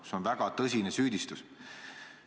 See on väga tõsine süüdistus.